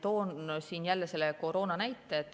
Toon siin jälle koroona näite.